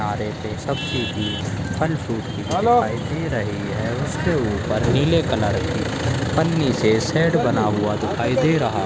किनारे पे एक सब्जी की भीड़भाड़ फल-फ्रूट की दुकान दिखाई दे रही है उसके ऊपर नीले कलर की पन्नी से सेट बना हुआ दिखाई दे रहा है।